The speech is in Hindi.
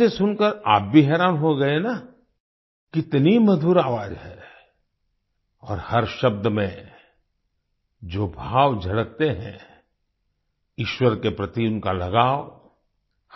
इसे सुनकर आप भी हैरान हो गए न कितनी मधुर आवाज है और हर शब्द में जो भाव झलकते हैं ईश्वर के प्रति इनका लगाव